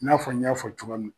I n'a fɔ n y'a fɔ cogoya min